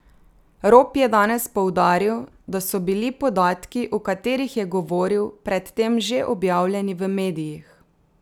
Rop je danes poudaril, da so bili podatki, o katerih je govoril, pred tem že objavljeni v medijih.